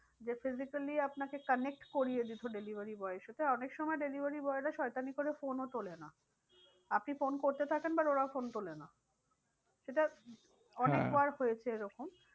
যে physically আপনাকে connect করিয়ে দিত delivery boy এর সাথে। আর অনেক সময় delivery boy রা শয়তানি করে phone ও তোলে না আপনি phone করতে থাকেন but ওরা phone তোলে না সেটা অনেকবার হয়েছে এরকম